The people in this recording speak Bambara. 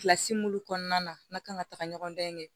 Kilasi mun kɔnɔna na n'a kan ka taga ɲɔgɔndan in kɛ